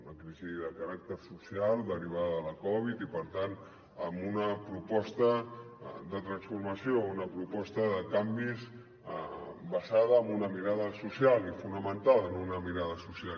una crisi de caràcter social derivada de la covid i per tant amb una proposta de transformació una proposta de canvis basada en una mirada so·cial i fonamentada en una mirada social